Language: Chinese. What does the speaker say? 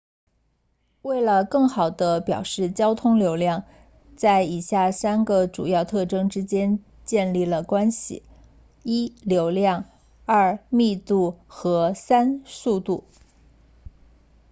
为了更好地表示交通流量在以下三个主要特征之间建立了关系1流量2密度和3速度